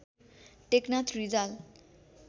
Teknath Rijal